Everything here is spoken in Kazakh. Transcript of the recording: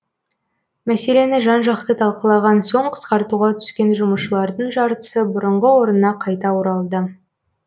мәселені жан жақты талқылаған соң қысқартуға түскен жұмысшылардың жартысы бұрынғы орнына қайта оралды